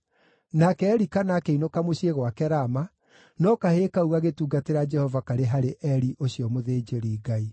Nake Elikana akĩinũka mũciĩ gwake Rama, no kahĩĩ kau gagĩtungatĩra Jehova karĩ harĩ Eli ũcio mũthĩnjĩri-Ngai.